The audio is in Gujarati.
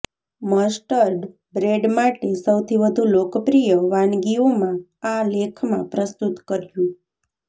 મસ્ટર્ડ બ્રેડ માટે સૌથી વધુ લોકપ્રિય વાનગીઓમાં આ લેખમાં પ્રસ્તુત કર્યું